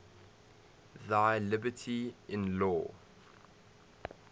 thy liberty in law